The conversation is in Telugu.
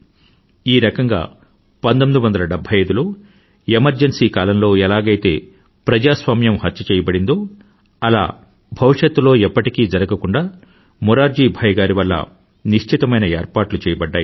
ఈ రకంగా 1975లో ఎమర్జన్సీ కాలంలో ఎలాగైతే ప్రజాస్వామ్యం హత్య చేయబడిందో అలా భవిష్యత్తులో ఎప్పటికీ జరగకుండా మొరార్జీ భాయ్ గారి వల్ల నిశ్చితమైన ఏర్పాట్లు చేయబడ్డాయి